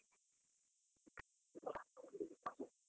.